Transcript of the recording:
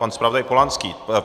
Pan zpravodaj Polanský.